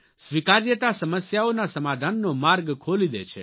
સ્વીકાર્યતા સમસ્યાઓના સમાધાનનો માર્ગ ખોલી દે છે